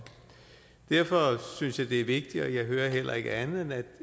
derfor synes jeg det er vigtigt og jeg hører heller ikke andet